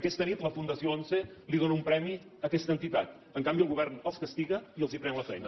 aquesta nit la fundació once dóna un premi a aquesta entitat en canvi el govern els castiga i els pren la feina